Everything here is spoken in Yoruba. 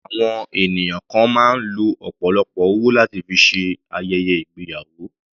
Àwọn ènìyàn kan máa ń lo ọ̀pọ̀lọpọ̀ owó láti fi ṣe ayẹyẹ ìgbéyàwó.